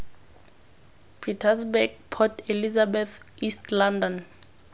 pietersburg port elizabeth east london